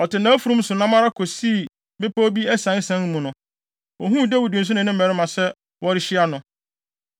Ɔte nʼafurum so nam ara kosii bepɔw bi asiansian mu no, ohuu Dawid nso ne ne mmarima sɛ wɔrehyia no.